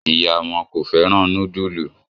ìyá wón kò féràn nudulu.